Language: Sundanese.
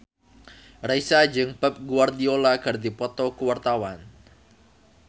Raisa jeung Pep Guardiola keur dipoto ku wartawan